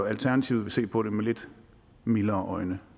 alternativet vil se på det med lidt mildere øjne